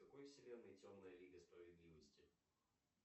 в какой вселенной темная лига справедливости